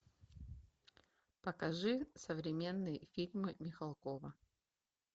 покажи современные фильмы михалкова